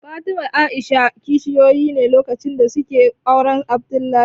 Fatima da A'isha kishiyoyi ne lokacin da suke auren Abdullahi